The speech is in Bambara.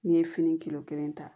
N'i ye fini kilo kelen ta